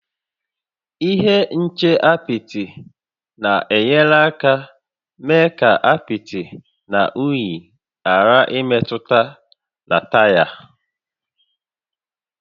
Ihe nche apịtị na-enyere aka mee ka apịtị na unyi ghàrà ịmetụta na taya